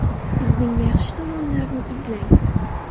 Kuzning yaxshi tomonlarini izlang.